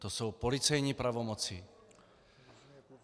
To jsou policejní pravomoci.